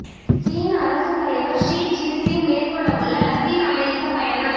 சீன அரசுத் தலைவர் ஷி ச்சின்பிங் மேற்கொள்ளவுள்ள லத்தீன் அமெரிக்கப் பயணம்